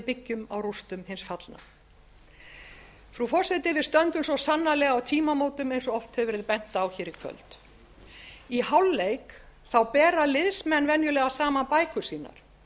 byggjum á rústum hins fallna frú forseti við stöndum svo sannarlega á tímamótum eins og oft hefur verið bent á hér í kvöld í hálfleik bera liðsmenn venjulega saman bækur sínar